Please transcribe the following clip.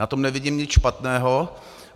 Na tom nevidím nic špatného.